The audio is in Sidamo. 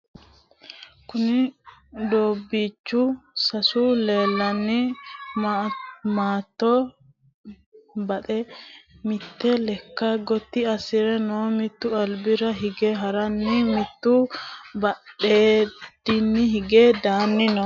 kuuni dobichu sase leekanni matto kaxe mitte leeka goti asire noo. mittu albira hige harana mittu badenni hige dannni noo.